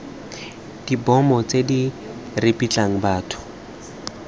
dibomo tse di ripitlang batho